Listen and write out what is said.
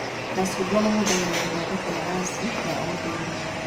Macungwa mahũthagĩrwo gũthondeka maraci ma ũndũire